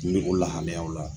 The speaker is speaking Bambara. Nin bɛ o lahaliyaw la.